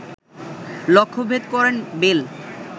লক্ষ্যভেদ করেন বেল